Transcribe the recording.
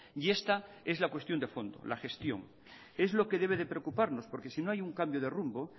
y esta es la cuestión de fondo la gestión es lo que debe de preocuparnos porque si no hay un cambio de rumbo